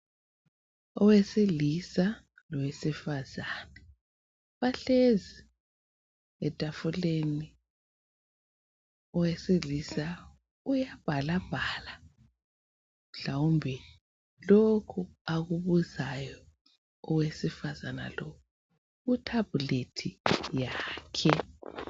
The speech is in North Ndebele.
Owesilisa lowesifazana bahlezi etafuleni, owesilisa uyabhalabhala, mhlawumbe lokhu akubuzayo owesifazana lo ku Thablethi yakhe.